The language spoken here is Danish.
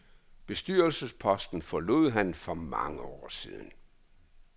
Bestyrelsesposten forlod han for mange år siden.